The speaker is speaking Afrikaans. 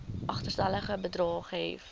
agterstallige bedrae gehef